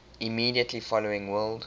immediately following world